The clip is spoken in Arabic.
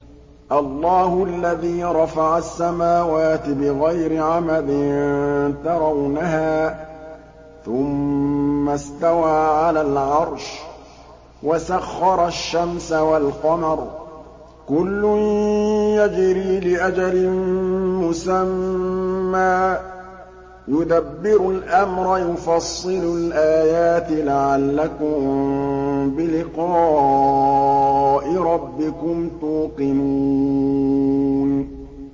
اللَّهُ الَّذِي رَفَعَ السَّمَاوَاتِ بِغَيْرِ عَمَدٍ تَرَوْنَهَا ۖ ثُمَّ اسْتَوَىٰ عَلَى الْعَرْشِ ۖ وَسَخَّرَ الشَّمْسَ وَالْقَمَرَ ۖ كُلٌّ يَجْرِي لِأَجَلٍ مُّسَمًّى ۚ يُدَبِّرُ الْأَمْرَ يُفَصِّلُ الْآيَاتِ لَعَلَّكُم بِلِقَاءِ رَبِّكُمْ تُوقِنُونَ